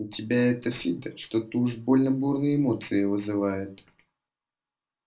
у тебя это фидо что-то уж больно бурные эмоции вызывает